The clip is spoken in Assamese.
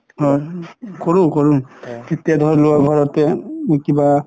অ কৰো কৰো এতিয়া ধৰি লোৱা ঘৰতে কিবা